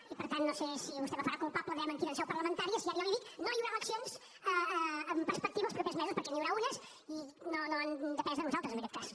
i per tant no sé si vostè me farà culpable diguem ne aquí en seu parlamentària si ara jo li dic no hi haurà eleccions en perspectiva als propers mesos perquè n’hi haurà unes i no han depès de nosaltres en aquest cas